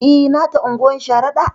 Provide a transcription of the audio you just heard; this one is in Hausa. E, nata unguwar Sharaɗa.